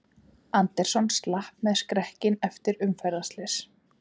Anderson slapp með skrekkinn eftir umferðarslys